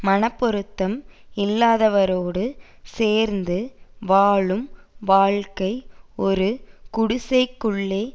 மனப்பொருத்தம் இல்லாதவரோடு சேர்ந்து வாழும் வாழ்க்கை ஒரு குடிசைக்குள்ளே